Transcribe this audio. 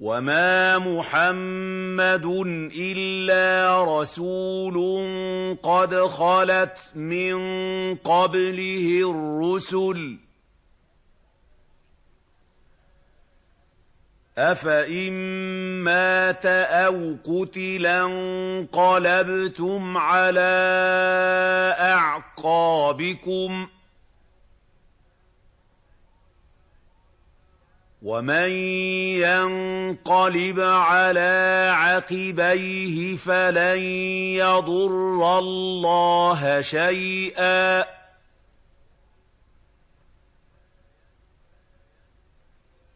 وَمَا مُحَمَّدٌ إِلَّا رَسُولٌ قَدْ خَلَتْ مِن قَبْلِهِ الرُّسُلُ ۚ أَفَإِن مَّاتَ أَوْ قُتِلَ انقَلَبْتُمْ عَلَىٰ أَعْقَابِكُمْ ۚ وَمَن يَنقَلِبْ عَلَىٰ عَقِبَيْهِ فَلَن يَضُرَّ اللَّهَ شَيْئًا ۗ